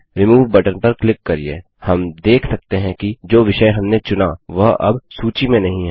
remove button पर click करिये हम देख सकते हैं कि जो विषय हमने चुना वह अब सूची में नहीं है